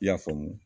I y'a faamu